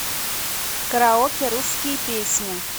караоке русские песни